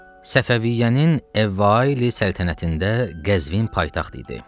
Səfəviyyənin əvvayi səltənətində Qəzvin paytaxt idi.